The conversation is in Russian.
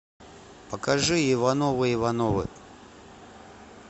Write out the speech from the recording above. покажи ивановы ивановы